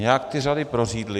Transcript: Nějak ty řady prořídly.